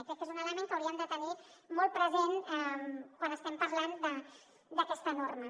i crec que és un element que hauríem de tenir molt present quan estem parlant d’aquesta norma